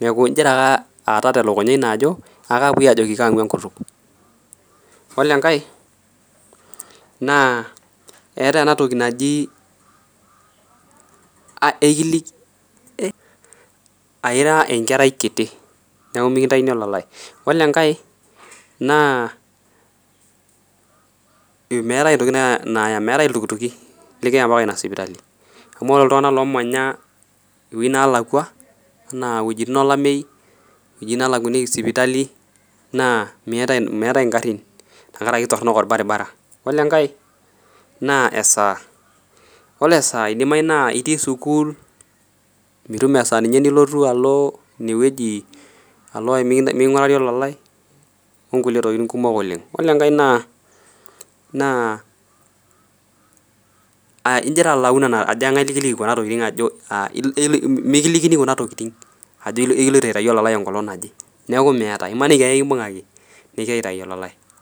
neeku ingira aata telukunya ino ajo akapuoi aajoki kaang'u enkutuk olo enkae naa eetae ena toki naji uh ekilik eh aira enkerai kiti niaku mikintaini olalae olo enkae naa imeetae intokiting naa naaya meetae iltukutuki likiya ampaka ina sipitali amu oro iltung'ana lomanya iwuein nalakua anaa iwuejitin olamei iwuejitin nalakuaniki sipitali naa miata meetae ingarrin tenkarake kitorronok orbaribara olo enkae naa esaa olo esaa naa idimai naa itii sukuul mitum esaa ninye nilotu alo inewueji alo mi miking'urari olalae onkulie tokiting kumok oleng olenkae naa naa uh injir alau ajo eng'ae likiliki kuna tokiting ajo uh mikilikini kuna tokiting ajo ilo ekiloito aitai olalae enkolong naje neeku meeta imaniki ake kimbung'aki nikiyae aitai olalae.